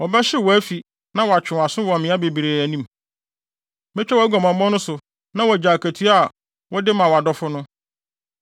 Wɔbɛhyehyew wʼafi na wɔatwe wʼaso wɔ mmea bebree anim. Metwa wʼaguamammɔ no so na woagyae akatua a wode ma wʼadɔfo no.